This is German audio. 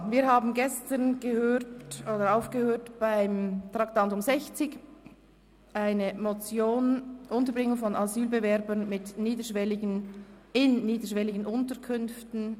Wir haben gestern das Traktandum 60 unterbrochen, die Motion «Unterbringung von Asylbewerbern in niederschwelligen Unterkünften».